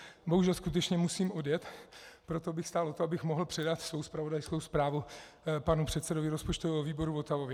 Bohužel skutečně musím odjet, proto bych stál o to, abych mohl předat svou zpravodajskou zprávu panu předsedovi rozpočtového výboru Votavovi.